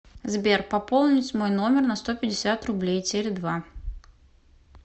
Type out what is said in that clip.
сбер пополнить мой номер на сто пятьдесят рублей теле два